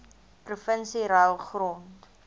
provinsie ruil grond